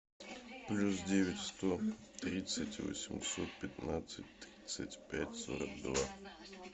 плюс девять сто тридцать восемьсот пятнадцать тридцать пять сорок два